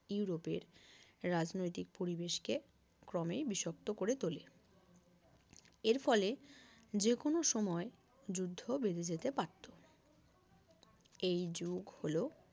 ইউরোপের রাজনৈতিক পরিবেশকে ক্রমেই বিষাক্ত করে তোলে এর ফলে যে কোন সময় যুদ্ধ বেধে যেতে পারতো এই যুগ হলো